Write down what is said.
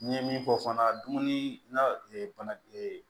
N ye min fɔ fana dumuni na bana